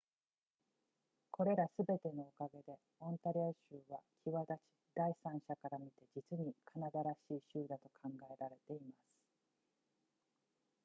これらすべてのおかげでオンタリオ州は際立ち第三者から見て実にカナダらしい州だと考えられています